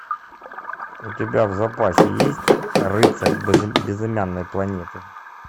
у тебя в запасе есть рыцарь безымянной планеты